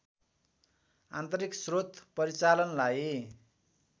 आन्तरिक स्रोत परिचालनलाई